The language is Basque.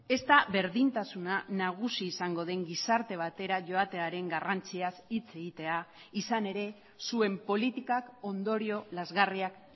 ezta berdintasuna nagusi izango den gizarte batera joatearen garrantziaz hitz egitea izan ere zuen politikak ondorio lazgarriak